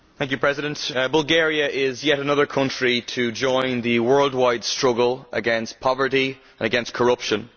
Madam President, Bulgaria is yet another country to join the worldwide struggle against poverty and corruption.